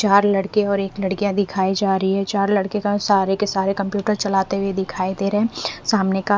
चार लड़के और एक लड़कियां दिखाई जा रही है चार लड़के का सारे के सारे कंप्यूटर चलाते हुए दिखाई दे रहे हैं सामने का--